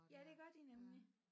Ja det gør de nemlig